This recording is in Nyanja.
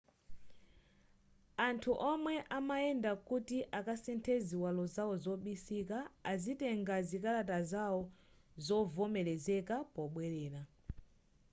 anthu omwe amayenda kuti akasinthe ziwalo zawo zobisika azitenga zikalata zawo zovomelezeka pobwelera